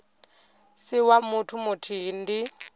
si wa muthu muthihi ndi